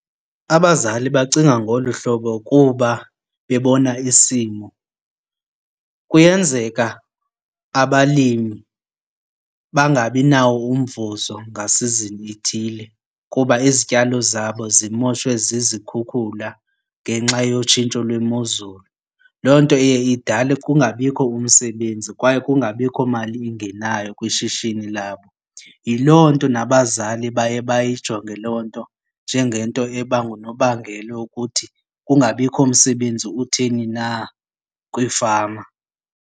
Abazali bacinga ngolu hlobo kuba bebona isimo. Kuyenzeka abalimi bangabinawo umvuzo ngasizini ithile kuba izityalo zabo zimoshwe zizikhukhula ngenxa yotshintsho lwemozulu. Loo nto iye idale kungabikho umsebenzi kwaye kungabikho mali ingenayo kwishishini labo. Yiloo nto nabazali baye bayayijonge loo nto njengento eba ngunobangela yokuthi kungabikho msebenzi utheni na kwiifama.